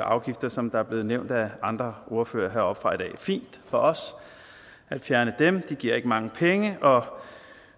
afgifter som er blevet nævnt af andre ordførere heroppefra i dag det er fint for os at fjerne dem de giver ikke mange penge og